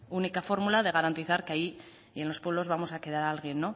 única fórmula de garantizar que ahí en los pueblos vamos a quedar alguien